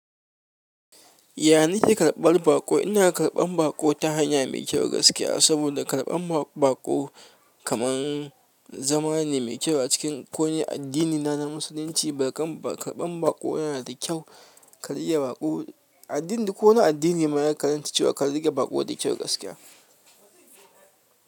Yan ni ke karɓar baƙo? Ina karɓan baƙone, ta hanya mai kyau gaskiya, saboda karɓan baƙo kamar zama ne mai kyau a cikin ko wane addinina na Musulunci. Karɓan, karban baƙo yana da kyau, ka riƙe baƙo. Addini, ko wane addini ma ya karanta cewa ka riƙe baƙo da kyau gaskiya.